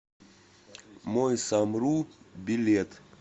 мой самру билет